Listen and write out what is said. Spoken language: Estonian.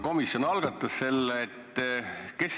Komisjon selle eelnõu algatas.